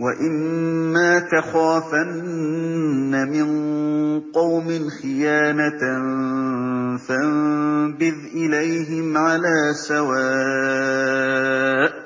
وَإِمَّا تَخَافَنَّ مِن قَوْمٍ خِيَانَةً فَانبِذْ إِلَيْهِمْ عَلَىٰ سَوَاءٍ ۚ